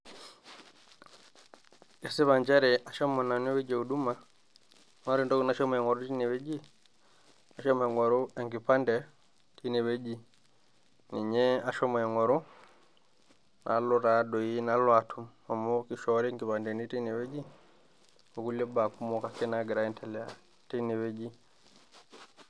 Esipa nchere ashomo nanu ewueji najo huduma, naa kore entoki nashomo aing'oru teine wueji ashomo aing'oru enkipande, ninye ashomo aing'oru , naalo taadei naalo atum amu keishoori inkipandeni teine wueji oo kulie tokitin ake naagira aendelea teine wueji